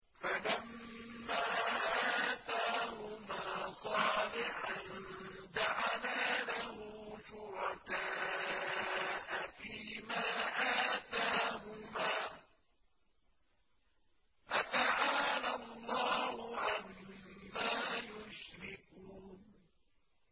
فَلَمَّا آتَاهُمَا صَالِحًا جَعَلَا لَهُ شُرَكَاءَ فِيمَا آتَاهُمَا ۚ فَتَعَالَى اللَّهُ عَمَّا يُشْرِكُونَ